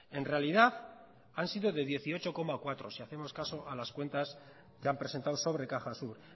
en realidad han sido de dieciocho coma cuatro si hacemos caso a las cuentas que han presentado sobre cajasur